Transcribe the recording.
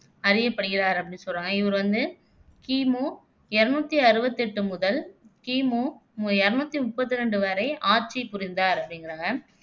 அறியப்படுகிறார் அப்படின்னு சொல்றாங்க இது வந்து கி மு இருநூத்தி அறுவத்து எட்டு முதல் கி மு இருநூத்து முபப்த்தி ரெண்டு வரை ஆட்சி புரிந்தார் அப்படிங்குறாங்க.